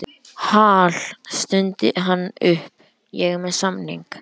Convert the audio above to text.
Hal, stundi hann upp, ég er með samning